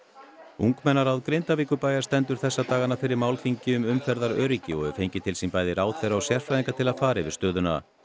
ungmennaráð Grindavíkurbæjar stendur þessa dagana fyrir málþingi um umferðaröryggi og hefur fengið til sín bæði ráðherra og sérfræðinga til að fara yfir stöðuna